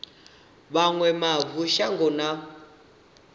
vha wane mavu shango na